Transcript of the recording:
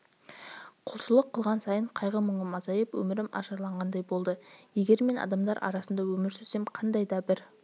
құлшылық қылған сайын қайғы-мұңым азайып өмірім ажарланғандай болды егер мен адамдар арасында өмір сүрсем қандай да бір